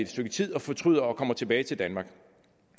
stykke tid fortryder og kommer tilbage til danmark